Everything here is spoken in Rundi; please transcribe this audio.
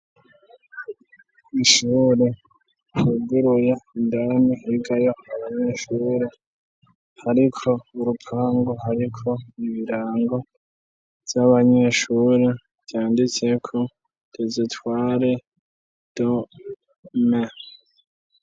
ishure ryuguruye indani rivayo abanyeshure, hariko urupangu hariko ibirango vy'abanyeshure vyanditseko dezetware de dome.